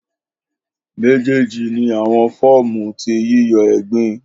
Mejeji ni awọn fọọmu ti yiyọ egbin